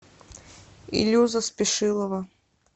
илюза спешилова